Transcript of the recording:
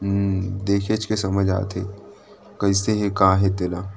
अम्म देखेच के समझ आत हे कइसे हे का हे तेन ह--